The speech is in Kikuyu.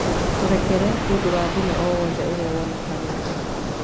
Tũrekere nĩ ũndũ wa thĩna o wothe ũrĩa wonekete.